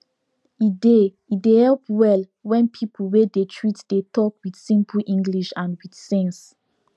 e dey e dey help well when people wey dey treat dey talk with simple english and with sense